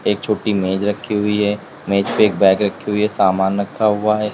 एक छोटी मेज रखी हुई है मेज पे बैग रखी हुई सामान रखा हुआ है।